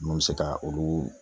Mun be se ka olu